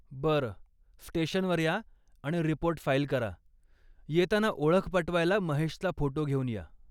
बरं. स्टेशनवर या आणि रिपोर्ट फाईल करा, येताना ओळख पटवायला महेशचा फोटो घेऊन या.